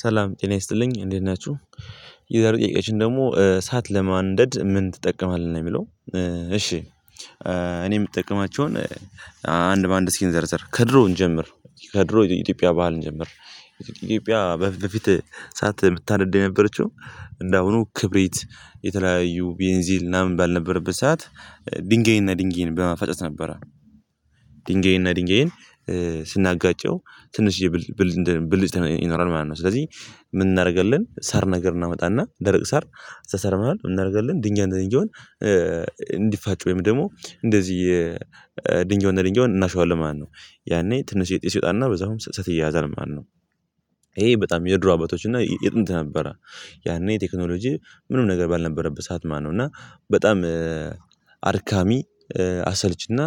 ሰላም ጤና ይስጥልኝ እንዴት ናችሁ የዛሬው ጥያቄያችን ደግሞ እሳት ለማንደድ ምን ትጠቀማለህ? ነው የሚለው። እሺ እኔ የምጠቀማቸውን አንድ በአንድ እስኪ እንዘርዘር። ከድሮ እንጀምር ከድሮ የኢትዮጵያ ባህል እንጀምር ኢትዮጵያ በፊት በፊት እሳት የምታነድ የነበረችው እንደአሁኑ ክብሪት የተለያዩ ቤንዚል ምናምን ባልነበረበት ሰዓት ድንጋይና ድንጋይን በማፋጨት ነበረ። ድንጋይና ድንጋይን ስናጋጨው ትንሽዬ ብልጭታ ይኖራል ማለት ነው። ስለዚህ ምን እናደርጋለን ሳር ነገር እናመጣና ደረቅ ሳር እዛ ሳር መሃል ምን እናደርጋለን ድንጋይ እና ድንጋዩን እንዲፋጩ ወይም ደግሞ እንደዚህ ድንጋዩን ድንጋዩን እናሸዋለን ማለት ነው። ያኔ ትንሽዬ ጢስ ይወጣና በዛውም እሳት ይያያዛል ማለት ነው። ይሄ በጣም የድሮ አባቶች እና የጥንት ነበረ። ያኔ ቴክኖሎጂ ምንም ነገር ባልነበረበት ሰዓት ማለት ነው እና በጣም አድካሚ አሰልቺና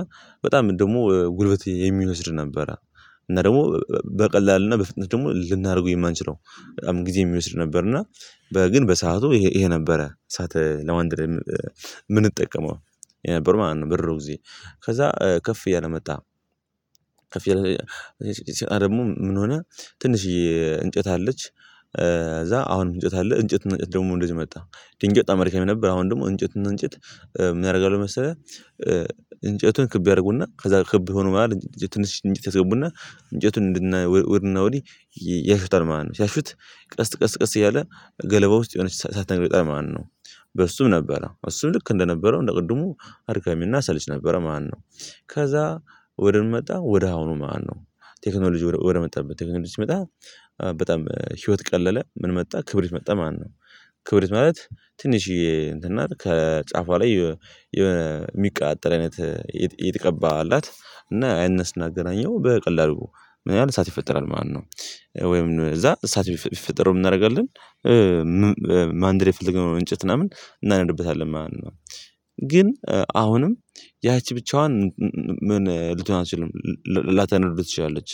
በጣም ደግሞ ጉልበት የሚወስድ ነበረ እና ደግሞ በቀላሉ እና በፍጥነት ደግሞ ልናደርገው የማንችለው በጣም ጊዜ የሚወስድ ነበር እና ግን በሰአቱ ይሄ ነበረ እሳት ለማንደድ የምንጠቀመው። ነበር ማለት ነው በድሮ ጊዜ። ከዛ ከፍ እያለ መጣ። ከፍ እያለ ሲመጣ ደሞ ምን ሆነ ትንሽዬ እንጨት አለች። እዛ አሁንም እንጨት አለ እንጨትና እንጨት ደግሞ እንደዚህ መጣ። ድንጋይ በጣም አድካሚ ነበር። አሁን ደግሞ እንጨትና እንጨት ምን ያደርጋሉ መሰለህ እንጨቱን ክብ ያደርጉና ከዛ ክብ የሆነው መሃል ትንሽ እንጨት ያስገቡና እንጨቱን እንድና ወድና ወዲህ ያሹታል ማለት ነው። ሲያሹት ቀስ ቀስ ቀስ እያለ ገለባ ውስጥ የሆነች አሳት ነገር ይወጣል ማለት ነው። በሱም ነበረ። እሱም ልክ እንደነበረው እንደ ቅድሙ አድካሚና አሰልቺ ነበረ ማለትነው። ከዛ ወደምን መጣ ወደ አሁኑ ማለት ነው። ቴክኖሎጂ ወደ መጣበት ቴክኖሎጂ ሲመጣ በጣም ህይወት ቀለለ ምን መጣ ክብሪት መጣ ማለት ነው። ክብሪት ማለት ትንሽዬ እንትን ናት። ከጫፏ ላይ የሆነ የሚቀጣጠል አይነት የተቀባ አላት። እና ያንን ስናገናኘው በቀላሉ ምን ይሆናል እሳት ይፈጠራል ማለት ነው። ወይም እዛ እሳት ቢፈጠር ምን እናደርጋለን ማንደድ የፈለግነውን እንጨት ምናምን እናነድብታለን ማለት ነው። ግን አሁንም ያቺ ብቻዋን ምን ልትሆን አትችልም ላታነደው ትችላለች።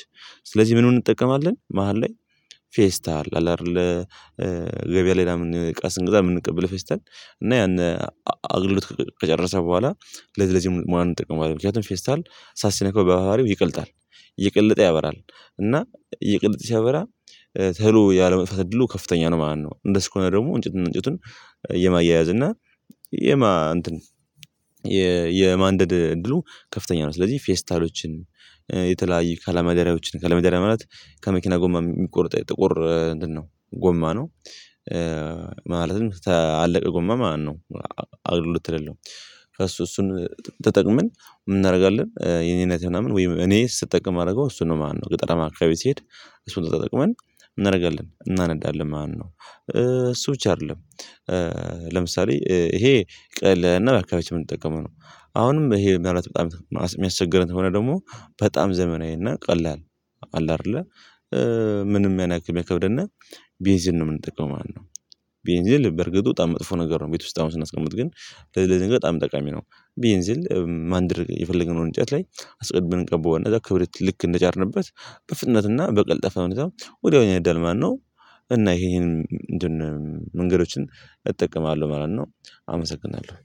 ስለዚህ ምን ምን እንጠቀማለን መሃል ላይ ፌስታል አለ አይደል ገበያ ሌላውን እቃ ስንገዛ የምንቀበለው ፌስታል እና ያን አግልግሎት ከጨረሰ በኋላ ለዚህ ለዚህ ሙያ እንጠቀመዋለን። ምክንያቱም ፌስታል እሳት ሲነካው በባህሪው ይቀልጣል። እየቀለጠ ያበራል እና እየቀለጠ ሲያበራ ቶሎ ያለመጥፋት እድሉ ከፍተኛ ነው ማለት ነው። እንደሱ ከሆነ ደግሞ እንጭትና እንጨቱን የማያያዝ እና የማ እንትን የማንደድ እድሉ ከፍተኛ ነው። ስለዚህ ፌስታሎችን የተለያዩ ከለመደሪያዎችን ከለመደሪያ ማለት ከመኪና ጎማ የሚቆርጠው ጥቁር እንትን ነው ጎማ ነው። ማለትም ከአለቀ ጎማ ማለት ነው አገልግሎት ከሌለው። ከእሱ እሱን ተጠቅመን ምን እናደርጋለን የኔ እናቴ ምናምን ወይም እኔ ስጠቀም የማደርገው እሱን ነው ማለት ነው። ገጠራማ አካባቢ ስሄድ እሱን ለተጠቅመን እናደርጋለን እናነዳለን ማለትነው። እሱ ብቻ አይደለም ለምሳሌ ይሄ ቀለል ያለና በአካባቢያችን የምንጠቀመው ነው። አሁንም ይሄ ምናልባት በጣም የሚያስቸግረን ከሆነ ደግሞ በጣም ዘመናዊ እና ቀላል አለ አይደለ ምንም ያን ያክል የማይከብደን ቤንዚን ነው የምንጠቀው ማለት ነው። ቤንዚን በርግጥ በጣም መጥፎ ነገር ነው ቤት ውስጥ አሁን ስናስቀምጥ ግን ለዚህ ለዚህ ነገር በጣም ጠቃሚ ነው። ቤንዚን ማንደድ የፈለግነው እንጨት ላይ አስቀድመን እንቀባዋለን። ከዛ ክብሪት ልክ እንደጫርንበት በፍጥነትና በቀልጣፋ ሁኔታ ወዲያውኑ እዳል ማለት ነው። እና ይሄ ይሄን ምንድነው መንገዶችን እጠቀማለሁ ማለት ነው አመሰግናለሁ።